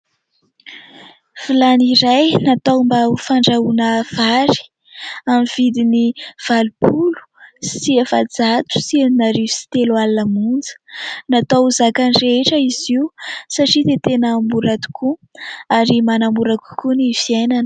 Vilany iray natao mba ho fandrahoana vary amin'ny vidiny valopolo sy efajato sy enina arivo sy telo alina monja, natao ho zakany rehetra izy io satria dia tena mora tokoa ary manamora kokoa ny fiainana.